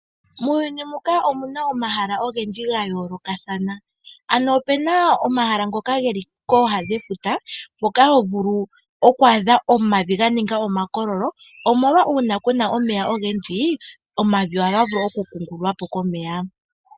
Muuyuni muka omuna omahala ogendji ga yoolokathana, ano opuna omahala ngoka ge li kooha dhefuta hoka ho vulu okwaadha omavi ga ninga omakololo, omolwa uuna kuna omeya ogendji omavi ohaga vulu oku kuungululwa po komeya.